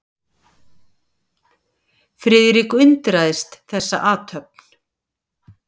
Friðrik undraðist þessa athöfn.